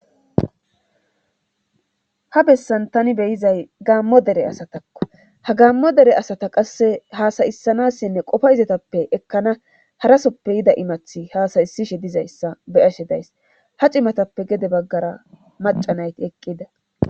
Habessan tani beyizay gaammo dere asatakko hagaammo dere asata qasse haasayissanassinne qofa izatappe ekkana harasoppe yida imathi haasayisishe dizayssa beashe days hacimatappe gede baggara macanayti eqqida.